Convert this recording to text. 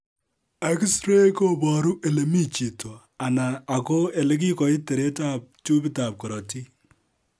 X ray koboru elemi chito , aina ako elekikoit teret ab tubit ab korotik